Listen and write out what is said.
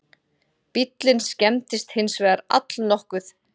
Bíllinn skemmdist hins vegar allnokkuð